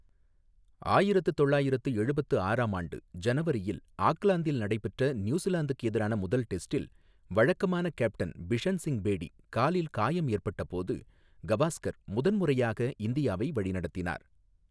ஆயிரத்து தொள்ளாயிரத்து எழுபத்து ஆறாம் ஆண்டு ஜனவரியில் ஆக்லாந்தில் நடைபெற்ற நியூசிலாந்துக்கு எதிரான முதல் டெஸ்டில், வழக்கமான கேப்டன் பிஷன் சிங் பேடி, காலில் காயம் ஏற்பட்டபோது கவாஸ்கர் முதன்முறையாக இந்தியாவை வழிநடத்தினார்.